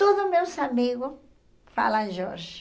Todos meus amigos falam Jorge.